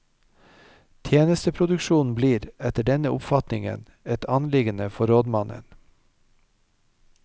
Tjenesteproduksjon blir, etter denne oppfatningen, et anliggende for rådmannen.